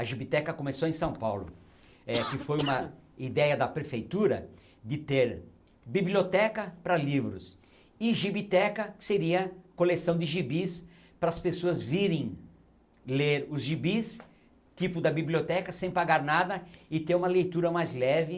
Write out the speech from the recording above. A gibiteca começou em São Paulo, é que foi uma ideia da prefeitura de ter biblioteca para livros e gibiteca que seria coleção de gibis para as pessoas virem ler os gibis, tipo da biblioteca, sem pagar nada e ter uma leitura mais leve.